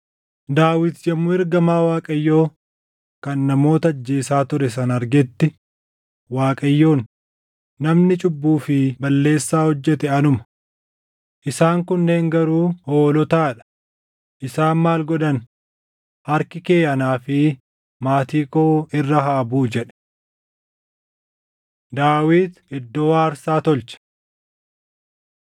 Daawit yommuu ergamaa Waaqayyoo kan namoota ajjeesaa ture sana argetti, Waaqayyoon, “Namni cubbuu fi balleessaa hojjete anuma. Isaan kunneen garuu hoolotaa dha. Isaan maal godhan? Harki kee anaa fi maatii koo irra haa buʼu” jedhe. Daawit Iddoo aarsaa Tolche 24:18‑25 kwf – 1Sn 21:18‑26